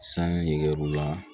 San yer'u la